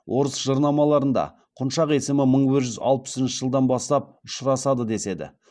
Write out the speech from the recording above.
орыс жырнамаларыда құншақ есімі мың бір жүз алпысыншы жылдан бастап ұшырасады деседі